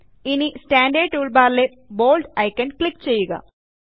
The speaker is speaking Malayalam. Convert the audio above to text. ഇനി സ്റ്റാൻറേർഡ് ടൂൾബാറിലെ Boldഐക്കണിൽ ക്ലിക്ക് ചെയ്യുക